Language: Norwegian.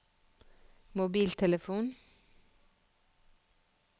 mobiltelefon